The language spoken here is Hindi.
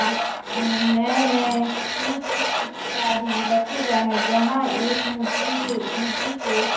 अ नये नये सूट इत्यादि रखे गए हैं जहां एक मूर्ति के मूर्ति को--